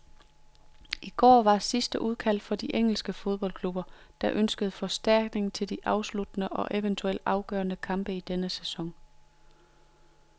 I går var sidste udkald for de engelske fodboldklubber, der ønskede forstærkning til de afsluttende og eventuelt afgørende kampe i denne sæson.